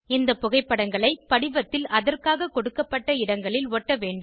இந்த புகைப்படங்களை படிவத்தில் அதற்காக கொடுக்கப்பட்ட இடங்களில் ஒட்ட வேண்டும்